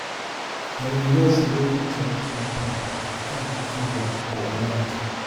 i dey love wearing traditional attire like kaftan after work to unwind